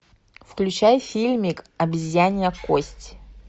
включай фильмик обезьянья кость